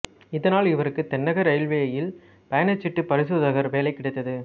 இதனால் இவருக்கு தென்னக இரயில்வேயில் பயணச்சீட்டு பரிசோதகர் வேலை கிடைத்தது